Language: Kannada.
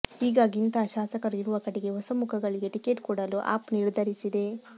ಹೀಗಾಗಿ ಇಂತಹ ಶಾಸಕರು ಇರುವ ಕಡೆಗೆ ಹೊಸ ಮುಖಗಳಿಗೆ ಟಿಕೆಟ್ ಕೊಡಲು ಆಪ್ ನಿರ್ಧರಿಸಿದೆ